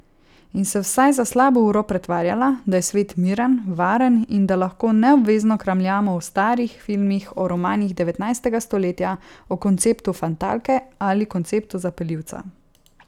In se vsaj za slabo uro pretvarjala, da je svet miren, varen in da lahko neobvezno kramljamo o starih filmih, o romanih devetnajstega stoletja, o konceptu fatalke ali konceptu zapeljivca.